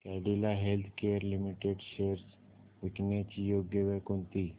Cadila healthcare limited shares विकण्याची योग्य वेळ कोणती